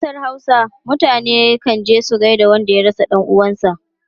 A kasar Hausa, mutane kan je su gaida wanda ya rasa dan uwansu.